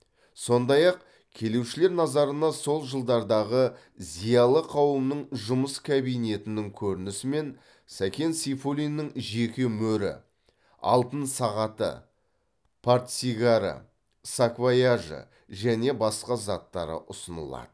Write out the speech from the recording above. сондай ақ келушілер назарына сол жылдардағы зиялы қауымның жұмыс кабинетінің көрінісі мен сәкен сейфуллиннің жеке мөрі алтын сағаты портсигары саквояжы және басқа заттары ұсынылады